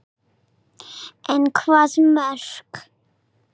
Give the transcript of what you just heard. En hvaða mörk?